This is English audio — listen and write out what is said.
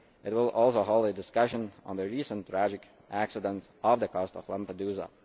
It will also hold a discussion on the recent tragic accident off the coast of Lampedusa.